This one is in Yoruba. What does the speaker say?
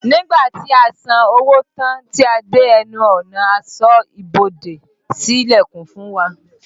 Nígbà tí a san owó tán tí a dé ẹnu ọ̀nà, asọ́ bodè sí ìlẹ̀kùn fún wa